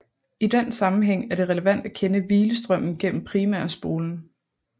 I den sammenhæng er det relevant at kende hvilestrømmen gennem primærspolen